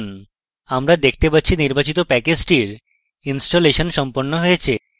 আমরা দেখতে পাচ্ছি নির্বাচিত প্যাকেজটির ইনস্টলেশন সম্পন্ন হয়েছে